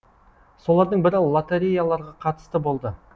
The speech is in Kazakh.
солардың бірі лотереяларға қатысты болды